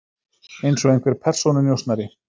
Eins og einhver persónunjósnari.